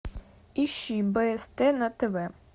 ищи бст на тв